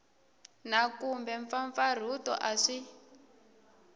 na kumbe mpfampfarhuto a swi